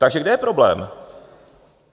Takže kde je problém?